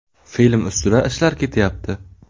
Film ustida ishlar ketyapti.